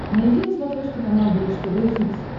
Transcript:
найди на смотрешке канал бридж тв хитс